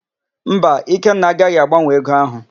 Mba, Ikenna agaghị agbanwe ego áhụ̀.